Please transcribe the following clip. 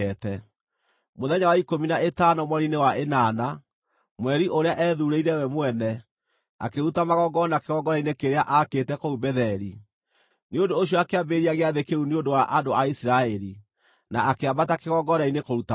Mũthenya wa ikũmi na ĩtano mweri-inĩ wa ĩnana, mweri ũrĩa eethuurĩire we mwene, akĩruta magongona kĩgongona-inĩ kĩrĩa aakĩte kũu Betheli. Nĩ ũndũ ũcio akĩambĩrĩria gĩathĩ kĩu nĩ ũndũ wa andũ a Isiraeli, na akĩambata kĩgongona-inĩ kũruta magongona.